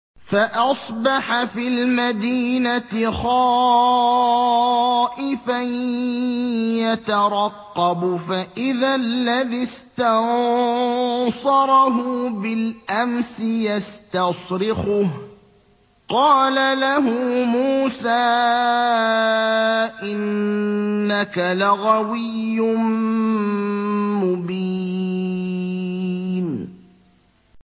فَأَصْبَحَ فِي الْمَدِينَةِ خَائِفًا يَتَرَقَّبُ فَإِذَا الَّذِي اسْتَنصَرَهُ بِالْأَمْسِ يَسْتَصْرِخُهُ ۚ قَالَ لَهُ مُوسَىٰ إِنَّكَ لَغَوِيٌّ مُّبِينٌ